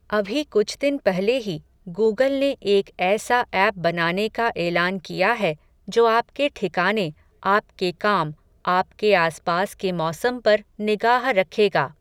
अभी कुछ दिन पहले ही, गूगल ने एक ऐसा ऐप बनाने का एलान किया है, जो आपके ठिकाने, आपके काम, आपके आस पास के मौसम पर निगाह रखेगा.